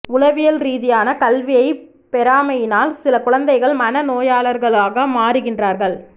உளவியல் ரீதியான கல்வியை பெறாமையினால் சில குழந்தைகள் மன நோயாளர்களாக மாறுகின்றார்கள்